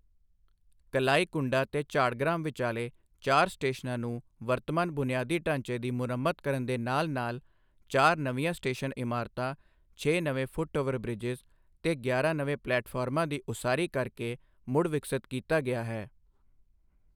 ਕਲਾਈਕੁੰਡਾ ਤੇ ਝਾੜਗ੍ਰਾਮ ਵਿਚਾਲੇ ਚਾਰ ਸਟੇਸ਼ਨਾਂ ਨੂੰ ਵਰਤਮਾਨ ਬੁਨਿਆਦੀ ਢਾਂਚੇ ਦੀ ਮੁਰੰਮਤ ਕਰਨ ਦੇ ਨਾਲ ਨਾਲ ਚਾਰ ਨਵੀਆਂ ਸਟੇਸ਼ਨ ਇਮਾਰਤਾਂ, ਛੇ ਨਵੇਂ ਫ਼ੁੱਟ ਓਵਰ ਬ੍ਰਿਜਸ ਤੇ ਗਿਆਰਾਂ ਨਵੇਂ ਪਲੈਟਫ਼ਾਰਮਾਂ ਦੀ ਉਸਾਰੀ ਕਰ ਕੇ ਮੁੜ ਵਿਕਸਤ ਕੀਤਾ ਗਿਆ ਹੈ।